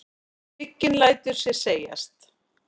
Hygginn lætur sér segjast.